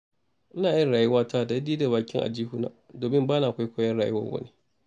Ina yin rayuwata daidai da bakin aljihuna, domin ba na kwaikwayon rayuwar wani.